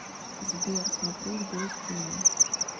сбер смотреть бой с тенью